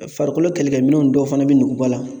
Farikolo kɛlɛkɛminɛnw dɔw fana bi nuguba la